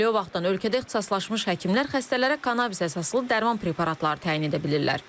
Elə o vaxtdan ölkədə ixtisaslaşmış həkimlər xəstələrə kannabisə əsaslı dərman preparatları təyin edə bilirlər.